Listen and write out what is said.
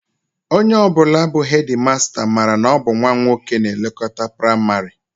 Onye ọ bụla bụ hedịmasta, mara na ọ bụ nnwa nwoke na-elekọta praịmarị